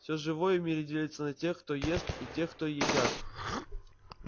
всё живое в мире делится на тех кто ест и тех кто едят